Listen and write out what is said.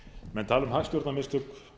menn tala um hagstjórnarmistök